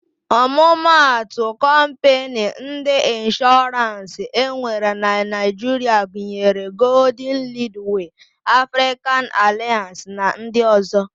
Ọmụmatụ kọmpịnị ndị Ịnshọrans enwere na Naịjiria gunyere: Goldlịnk, Lidwee, Afrịkan Alịans na ndị ọ̀zọ́.